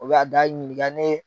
Olu y'a da ɲininka n ye